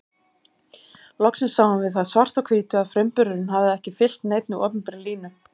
Loksins sáum við það svart á hvítu að frumburðurinn hafði ekki fylgt neinni opinberri línu.